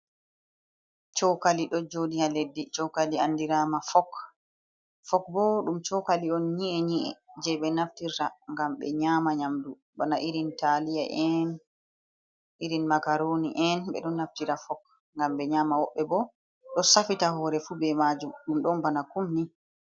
Cokali ɗo jodi ha leddi cokali andirama fok, bo ɗum cokali on nyi’e nyi’e je be naftirta ngam ɓe nyama nyamdu bana taliya en irin makaroni en ɓeɗon naftira fok ngam be nyama, woɓbe bo ɗo safita hore fu be majum dum don bana kumni.